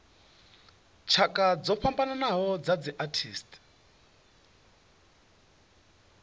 tshakha dzo fhambanaho dza arthritis